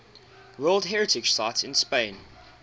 world heritage sites in spain